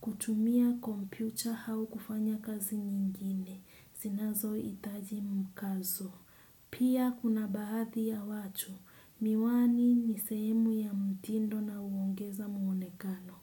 Kutumia kompyucha hau kufanya kazi nyingine. Zinazoitaji mkazo. Pia kuna bahadhi ya watu. Miwani ni sehemu ya mtindo na uongeza muonekano.